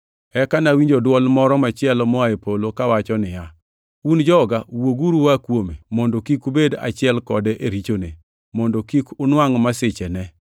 Eka nawinjo dwol moro machielo moa e polo kawacho niya, “ ‘Un joga, wuoguru ua kuome,’ + 18:4 \+xt Jer 51:45\+xt* mondo kik ubed achiel kode e richone, mondo kik unwangʼ masichene,